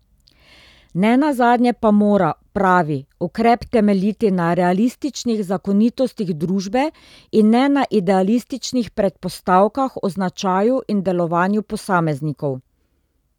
Ne nazadnje pa mora, pravi, ukrep temeljiti na realističnih zakonitostih družbe in ne na idealističnih predpostavkah o značaju in delovanju posameznikov.